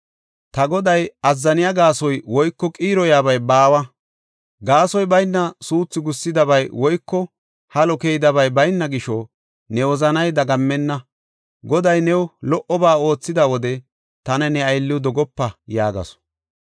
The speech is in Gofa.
ta goday azzaniya gaasoy woyko qiiroyabay baawa. Gaasoy bayna suuthu gussidabay woyko halo keydabay bayna gisho ne wozanay dagammenna. Goday new lo77oba oothida wode tana ne aylliw dogopa” yaagasu.